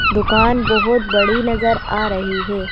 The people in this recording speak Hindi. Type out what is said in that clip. दुकान बहोत बड़ी नजर आ रही है।